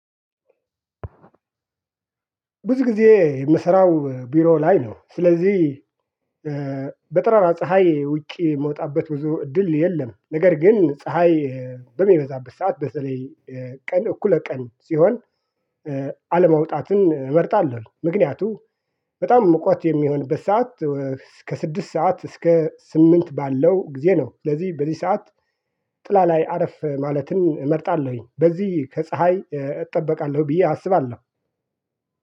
ብዙ ጊዜ የምሰራው ቢሮ ላይ ነው ስለዚህ በጠራራ ፀሀይ ውጪ የምወጣበት ብዙ እድል የለም። ነገር ግን ፀሀይ በሚበዛበት ሰዓት በተለይ ቀን እኩለ ቀን ሲሆን። አለመውጣትን እመርጣለሁ። ምክንያቱም በጣም ሙቀት የሚሆንበት ሰዓት እስከ ስድስት ሰዓት እስከ ስምንት ባለው ጊዜ ነው። ስለዚህ በዚህ ሰዓት ጥላ ላይ አረፍ ማለትን እመርጣለሁኝ። በዚህ ከፀሀይ እጠበቃለሁ ብዬ አስባለሁ።